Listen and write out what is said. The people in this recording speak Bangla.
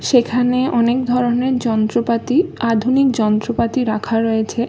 সেখানে অনেক ধরণের যন্ত্রপাতি আধুনিক যন্ত্রপাতি রাখা রয়েছে।